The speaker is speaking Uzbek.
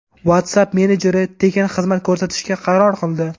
WhatsApp messenjeri tekin xizmat ko‘rsatishga qaror qildi.